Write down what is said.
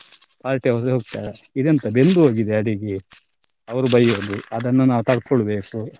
Party ಯವರು ಹೇಳ್ತಾರೆ ಇದು ಎಂತ ಬೆಂದು ಹೋಗಿದೆ ಅಡಿಗೆ ಅವರು ಬೈಯೂದು ಅದನ್ನು ನಾವ್ ತಡ್ಕೊಳ್ಬೇಕು.